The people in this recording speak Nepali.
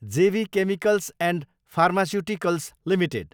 जे B chemicals and pharmaceuticals limited